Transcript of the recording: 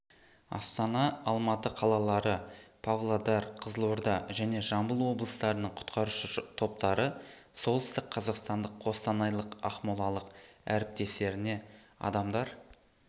астана алматы қалалары павлодар қызылорда және жамбыл облыстарының құтқарушы топтары солтүстік қазақстандық қостанайлық ақмолалық әріптестеріне адамдар